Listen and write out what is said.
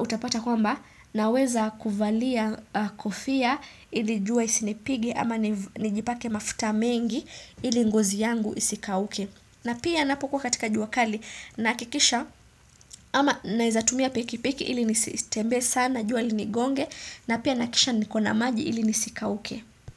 utapata kwamba naweza kuvalia kofia ili jua isinipige ama nijipake mafuta mengi ili ngozi yangu isikauke. Na pia napo kuwa katika jua kali na kikisha ama naizatumia piki piki ili nisitembe sana jua linigonge na pia nakisha nikona maji ili nisikauke.